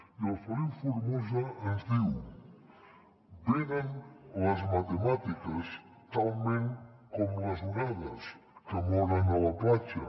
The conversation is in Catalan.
i el feliu formosa ens diu venen les matemàtiques talment com les onades que moren a la platja